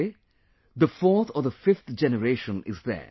Today, the fourth or the fifth generation is there